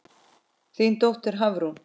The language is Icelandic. Þín dóttir, Hafrún.